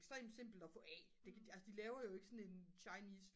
ekstremt simpelt at få af altså de laver jo ikke sådan en chinese